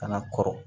Kana kɔrɔ